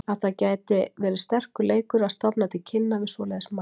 Að það gæti verið sterkur leikur að stofna til kynna við svoleiðis mann.